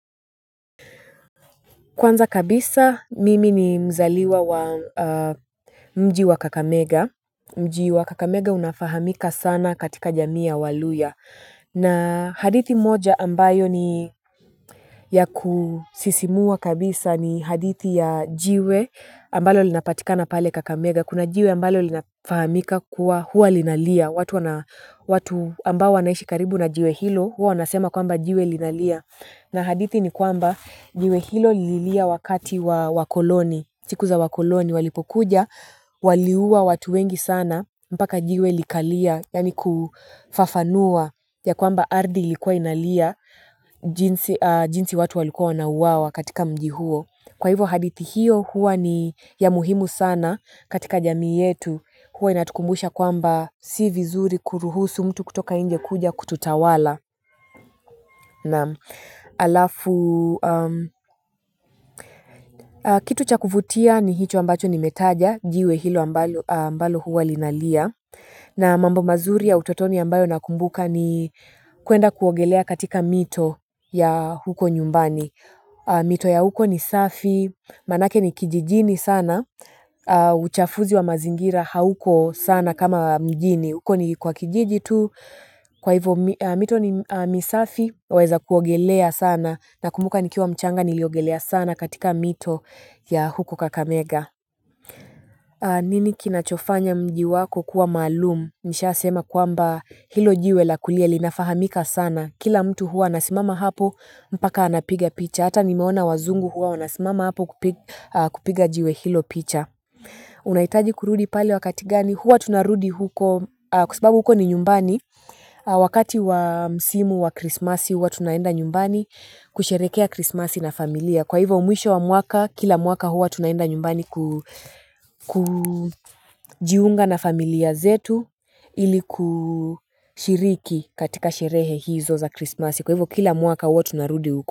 Kwanza kabisa, mimi ni mzaliwa wa mji wa Kakamega. Mji wa Kakamega unafahamika sana katika jamii ya waluhya. Na hadithi moja ambayo ni ya kusisimua kabisa ni hadithi ya jiwe ambalo linapatikana pale Kakamega. Kuna jiwe ambalo linafahamika kuwa huwa linalia. Watu ambao wanaishi karibu na jiwe hilo, huwa wanasema kwamba jiwe linalia. Na hadithi ni kwamba jiwe hilo lililia wakati wa wakoloni, siku za wakoloni walipokuja, waliua watu wengi sana, mpaka jiwe likalia, yaani kufafanua ya kwamba ardhi ilikuwa inalia jinsi jinsi watu walikuwa wanauawa katika mji huo. Kwa hivyo hadithi hiyo huwa ni ya muhimu sana katika jamii yetu huwa inatukumbusha kwamba si vizuri kuruhusu mtu kutoka nje kuja kututawala naam halafu kitu cha kuvutia ni hicho ambacho nimetaja jiwe hilo ambalo huwa linalia na mambo mazuri ya utotoni ambayo nakumbuka ni kuenda kuogelea katika mito ya huko nyumbani. Mito ya huko ni safi manake ni kijijini sana uchafuzi wa mazingira hauko sana kama wa mjini huko ni kwa kijiji tu. Kwa hivyo mito ni misafi waeza kuogelea sana nakumbuka nikiwa mchanga niliogelea sana katika mito ya huko Kakamega. Nini kinachofanya mji wako kuwa maalum? Nishasema kwamba hilo jiwe la kulia linafahamika sana. Kila mtu hua anasimama hapo mpaka anapiga picha. Hata nimeona wazungu huwa wanasimama hapo kupiga jiwe hilo picha Unahitaji kurudi pali wakati gani? Huwa tunarudi huko kwa sababu huko ni nyumbani wakati wa msimu wa krismasi huwa tunaenda nyumbani kusherehekea krismasi na familia. Kwa hivo mwisho wa mwaka, kila mwaka huwa tunaenda nyumbani kujiunga na familia zetu ili kushiriki katika sherehe hizo za krismasi. Kwa hivo kila mwaka huwa tunarudi huko.